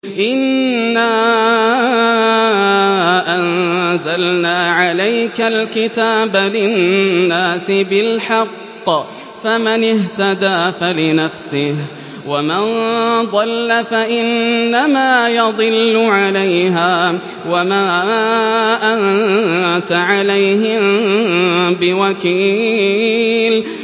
إِنَّا أَنزَلْنَا عَلَيْكَ الْكِتَابَ لِلنَّاسِ بِالْحَقِّ ۖ فَمَنِ اهْتَدَىٰ فَلِنَفْسِهِ ۖ وَمَن ضَلَّ فَإِنَّمَا يَضِلُّ عَلَيْهَا ۖ وَمَا أَنتَ عَلَيْهِم بِوَكِيلٍ